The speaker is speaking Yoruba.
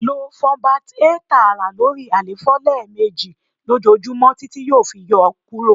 lo Funbact-A taara lori àléfọ lẹmeji lojoojumọ titi yoo fi yọ kuro